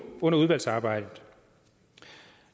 under udvalgsarbejdet